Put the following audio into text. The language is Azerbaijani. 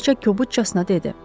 Kraliça kobudcasına dedi.